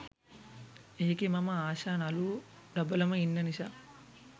එකෙ මම ආශා නළුවො ඩබලම ඉන්න නිසා